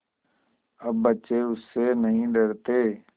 अब बच्चे उससे नहीं डरते